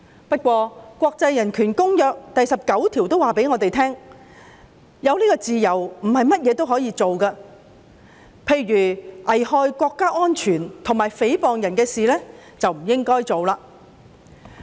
不過，一如國際人權公約第19條指出，自由並不代表所有事也可以做，例如一些危害國家安全及誹謗別人的事，便不應該做。